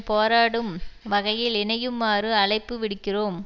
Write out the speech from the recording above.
போராடும் வகையில் இணையுமாறு அழைப்பு விடுக்கிறோம்